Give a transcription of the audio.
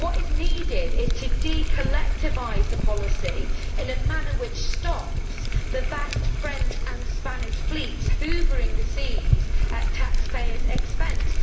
What is needed is to de collectivise the policy in a manner which stops the vast French and Spanish fleets hoovering the seas at taxpayers' expense.